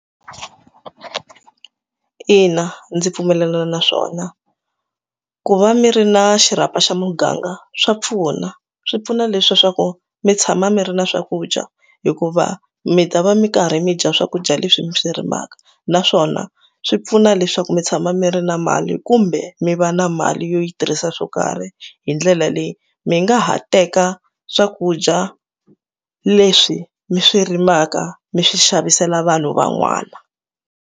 Ina ndzi pfumelelana naswona ku va mi ri na xirhapa xa muganga swa pfuna swi pfuna leswaku mi tshama mi ri na swakudya hikuva mi ta va mi karhi mi dya swakudya leswi mi swi rimaka naswona swi pfuna leswaku mi tshama mi ri na mali kumbe mi va na mali yo yi tirhisa swo karhi hi ndlela leyi mi nga ha teka swakudya leswi mi swi rimaka mi swi xavisela vanhu van'wana.